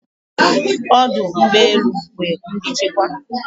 Odụ̀ ụgbe elū nwer ndi nchekweba